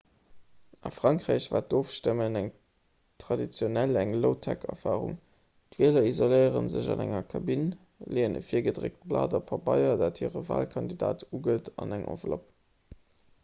a frankräich war d'ofstëmmen traditionell eng low-tech-erfarung d'wieler isoléiere sech an enger kabinn leeën e virgedréckt blat pabeier dat hire walkandidat ugëtt an eng enveloppe